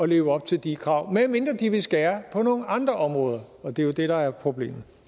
leve op til de krav medmindre de vil skære på nogle andre områder og det er jo det der er problemet